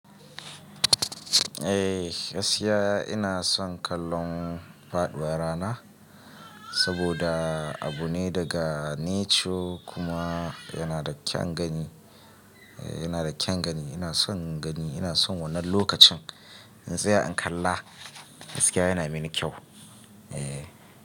Eh, gaskiya ina son kallon faduwar rana saboda abu ne daga nature kuma yana da kyan gani, eh yana da kyan gani. Ina son gani, ina son wannan lokacin. In tsaya in kalla, gaskiya yana mini kyau. Eh.